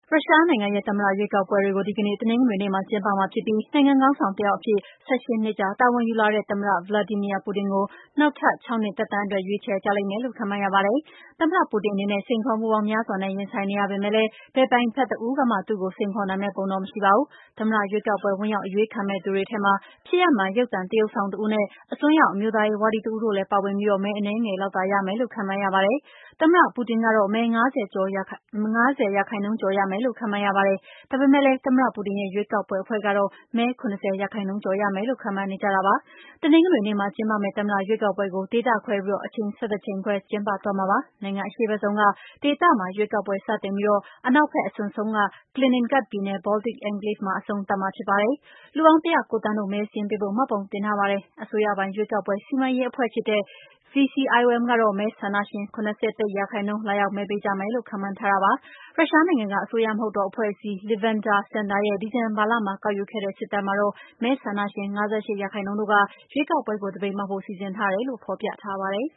ရုရှားနိုင်ငံရဲ့ သမ္မတရွေးကောက်ပွဲတွေကို ဒီကနေ့ တနင်္ဂနွေနေ့မှာကျင်းပမှာဖြစ်ပြီး နိုင်ငံခေါင်းဆောင်တယောက်အဖြစ် ၁၈ နှစ်ကြာ တာဝန်ယူလာတဲ့ သမ္မတ Vladimir Putin ကို နောက် ၆ နှစ် သက်တမ်းအတွက် ရွေးချယ်ကြလိမ့်မယ်လို့ ခန့်မှန်းရပါတယ်။ သမ္မတ ပူတင်အနေနဲ့ စိန်ခေါ်မှုပေါင်းများစွာနဲ့ ရင်ဆိုင်နေရပေမယ့်လည်း ဘယ်ပြိုင်ဘက်တဦးကမှ သူ့ကို စိန်ခေါ်နိုင်မယ့်ပုံတော့ မရှိပါဘူး။ သမ္မတရွေးကောက်ပွဲ ဝင်ရောက်အရွေးခံမယ့်သူတွေ ထဲမှာ ဖြစ်ရပ်မှန် ရုပ်သံသရုပ်ဆောင်တဦးနဲ့ အစွန်းရောက်အမျိုးသားရေးဝါဒီတဦးတို့လည်း ပါဝင်ပြီး မဲ အနည်းငယ်လောက်သာ ရမယ်လို့ ခန့်မှန်းရပါတယ်။ သမ္မတ Putin ကတော့ မဲ ၅၀ % ထက်ကျော်ရမယ်လို့ ခန့်မှန်းရပါတယ်။ ဒါပေမယ့်လည်း သမ္မတ ပူတင်ရဲ့ ရွေးကောက်ပွဲအဖွဲ့ကတော့ မဲ ၇၀% ကျော်ရမယ်လု့ိ ခန့်မှန်းနေကြတာပါ။ တနင်္ဂနွေနေ့မှာကျင်းပမယ့် သမ္မတရွေးကောက်ပွဲကို ဒေသခွဲပြီး၊ အချိန် ၁၁ ချိန် ခွဲပြီး ကျင်းပသွားမှာပါ။ နိုင်ငံအရှေ့ဘက်ဆုံးက ဒေသမှာရွေးကောက်ပွဲ စတင်မှာဖြစ်ပြီး အနောက်ဘက် အစွန်ဆုံးက Kaliningrad ပြည်နယ် Baltic enclave မှာအဆုံးသတ်မှာဖြစ်ပါတယ်။ လူပေါင်း ၁၀၉ သန်းတို့ မဲစာရင်းပေးဖို့ မှတ်ပုံတင်ထားကြပါတယ်။ အစိုးရပိုင် ရွေးကောက်ပွဲစီမံရေးအဖွဲ့ဖြစ်တဲ့ VCIOM ကတော့ မဲဆန္ဒရှင် ၇၁ % လာရောက်မဲပေးကြမယ်လို့ ခန့်မှန်းထားပါတယ်။ ရုရှားနိုင်ငံက အစိုးရမဟုတ်သော အဖွဲ့အစည်း Levada Center ရဲ့ ဒီဇင်ဘာလမှာ ကောက်ယူခဲ့တဲ့ စစ်တမ်းမှာတော့ မဲဆန္ဒရှင် ၅၈ % တို့က ရွေးကောက်ပွဲကို သပိတ်မှောက်ဖို့ စီစဉ်ထားတယ်လို့ ဖော်ပြပါတယ်